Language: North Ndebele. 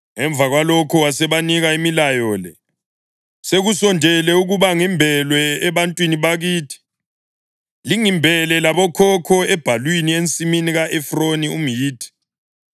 Emva kwalokho wasebanika imilayo le: “Sekusondele ukuba ngimbelwe ebantwini bakithi. Lingimbele labokhokho ebhalwini ensimini ka-Efroni umHithi,